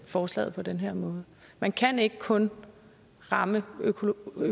forslaget på den her måde man kan ikke kun fremme økologien